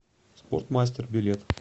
спортмастер билет